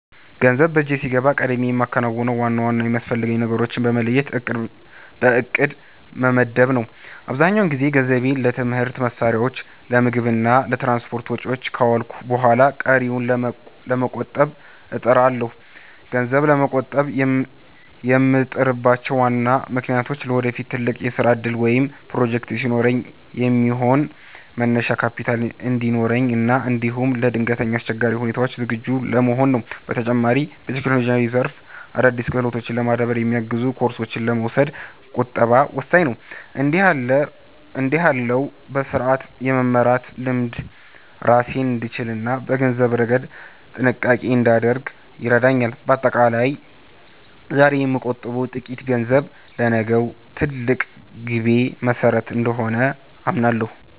ገንዘብ በእጄ ሲገባ ቀድሜ የማከናውነው ዋና ዋና የሚያስፈልጉኝን ነገሮች በመለየት በዕቅድ መመደብ ነው። አብዛኛውን ጊዜ ገንዘቤን ለትምህርት መሣሪያዎች፣ ለምግብ እና ለትራንስፖርት ወጪዎች ካዋልኩ በኋላ ቀሪውን ለመቆጠብ እጥራለሁ። ገንዘብ ለመቆጠብ የምጥርባቸው ዋና ምክንያቶች ለወደፊት ትልቅ የሥራ ዕቅድ ወይም ፕሮጀክት ሲኖረኝ የሚሆን መነሻ ካፒታል እንዲኖረኝ እና እንዲሁም ለድንገተኛ አስቸጋሪ ሁኔታዎች ዝግጁ ለመሆን ነው። በተጨማሪም፣ በቴክኖሎጂው ዘርፍ አዳዲስ ክህሎቶችን ለማዳበር የሚያግዙ ኮርሶችን ለመውሰድ ቁጠባ ወሳኝ ነው። እንዲህ ያለው በሥርዓት የመመራት ልምድ ራሴን እንድችልና በገንዘብ ረገድ ጥንቃቄ እንዳደርግ ይረዳኛል። በአጠቃላይ፣ ዛሬ የምቆጥበው ጥቂት ገንዘብ ለነገው ትልቅ ግቤ መሠረት እንደሆነ አምናለሁ።